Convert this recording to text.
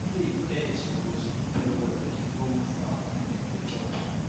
cage edge suppose smooth well well make e no wound fowl when dem dey chop